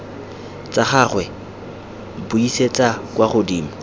tsa gagwe buisetsa kwa godimo